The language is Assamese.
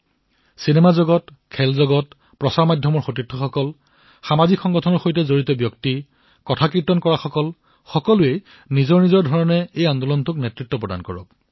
চলচ্চিত্ৰ জগতৰেই হওক খেল জগতৰেই হওক সংবাদ মাধ্যমৰ আমাৰ সহযোগীয়েই হওক সামাজিক সংগঠনৰ সৈতে জড়িত লোকেই হওক কথাকীৰ্তন কৰা লোকেই হওক সকলোৱে নিজৰ নিজৰ ধৰণে এই আন্দোলনৰ নেতৃত্ব প্ৰদান কৰক